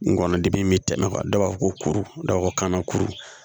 Ngɔnɔdimi bɛ tɛmɛ kan dɔw b'a fɔ ko kuru dɔ ko kanna kuru